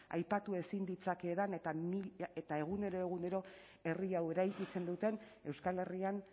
aipatu ezin ditzakeedan eta egunero egunero herri hau eraikitzen duten euskal herrian